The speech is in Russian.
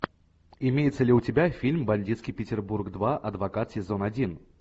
имеется ли у тебя фильм бандитский петербург два адвокат сезон один